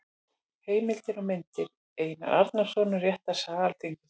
Heimildir og myndir: Einar Arnórsson: Réttarsaga Alþingis.